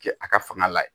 Kɛ a ka fanga la ye